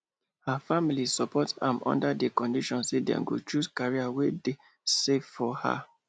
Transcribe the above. her family support am under the condition say them go choose career wey deysafe for her